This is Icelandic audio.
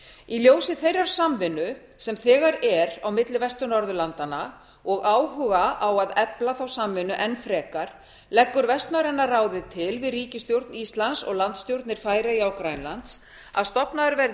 í ljósi þeirrar samvinnu sem þegar er á milli vestur norðurlandanna og áhuga á að efla þá samvinnu enn frekar leggur vestnorræna ráðið til við ríkisstjórn íslands og landsstjórnir færeyja og grænlands að stofnaður verði